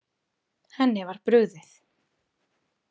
Henni var brugðið.